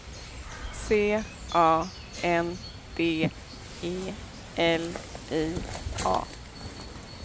C A N D E L I A